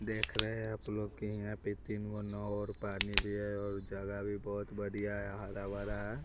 देख रहे हैं आप लोग के यहां पे तीन गुण और पानी भी है और जगह भी बहुत बढ़िया है हरा भरा है।